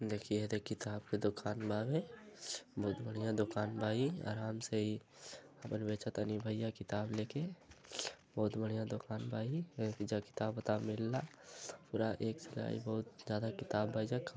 देखी हेदे किताब के दुकान बावे। बहुत बढ़िया दुकान बा ई। आराम से ई आपन बेचतनी भैया किताब लेके। बहुत बढ़िया दुकान बा ई। एईजा किताब ओताब मिलेला। पूरा एक एक से लगाई बहुत ज्यादा किताब बा ऐजा। खम --